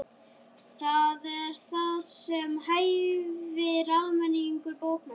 Það er það sem hæfir almennilegum bókmenntum.